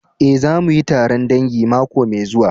Eh, za mu yi taron dangi mako mai zuwa.